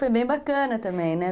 Foi bem bacana também, né?